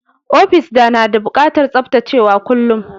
Ofis da na bukatan tsaftacewa kullum.